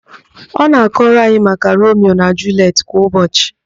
Ọ na-akọrọ anyị maka Romio na Juliet kwa ụbọchị